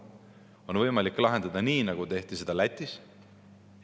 Seda on võimalik lahendada nii, nagu tehti seda Lätis.